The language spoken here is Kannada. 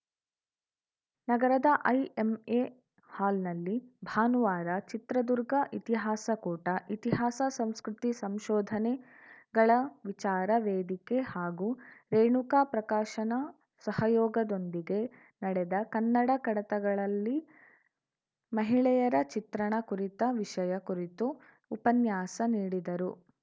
ನಗರದ ಐಎಂಎ ಹಾಲ್‌ನಲ್ಲಿ ಭಾನುವಾರ ಚಿತ್ರದುರ್ಗ ಇತಿಹಾಸ ಕೂಟ ಇತಿಹಾಸಸಂಸ್ಕೃತಿಸಂಶೋಧನೆಗಳ ವಿಚಾರ ವೇದಿಕೆ ಹಾಗೂ ರೇಣುಕಾ ಪ್ರಕಾಶನ ಸಹಯೋಗದೊಂದಿಗೆ ನಡೆದ ಕನ್ನಡ ಕಡತಗಳಲ್ಲಿ ಮಹಿಳೆಯರ ಚಿತ್ರಣ ಕುರಿತ ವಿಷಯ ಕುರಿತು ಉಪನ್ಯಾಸ ನೀಡಿದರು